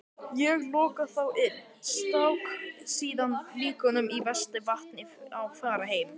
Ég lokaði þá inni, stakk síðan lyklunum í vestis- vasann og fór heim.